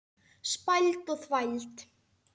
Spæld og þvæld.